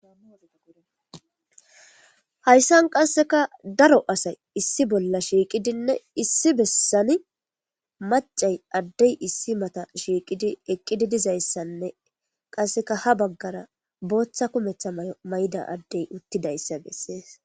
hayssan qasseka daro asay issi bolla shiiqidinne issi bessani macay addey issi mata shiiqidi eqqidi dizayssanne qasseka ha baggara booththa kumeththa may7o mayda addey uttidayssa bessees